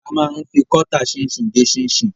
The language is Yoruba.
A máa ń fi kọ́tà ṣinṣin gé ṣinṣin.